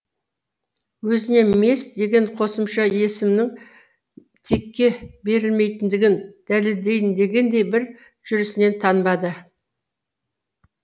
өзіне мес деген қосымша есімнің текке берілмейтіндігін дәлелдейін дегендей бір жүрісінен танбады